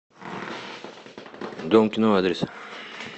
дом кино адрес